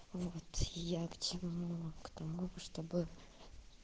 вот я к чему к тому чтобы